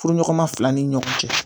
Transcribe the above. Furuɲɔgɔnma fila ni ɲɔgɔn cɛ